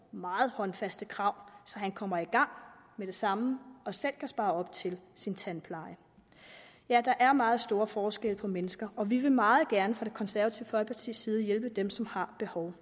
meget håndfaste krav til så han kommer i gang med det samme og selv kan spare op til sin tandpleje ja der er meget stor forskel på mennesker og vi vil meget gerne fra det konservative folkepartis side hjælpe dem som har behov